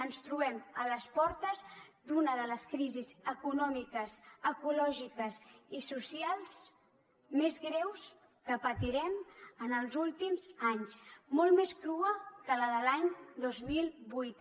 ens trobem a les portes d’una de les crisis econòmiques ecològiques i socials més greus que patirem en els últims anys molt més crua que la de l’any dos mil vuit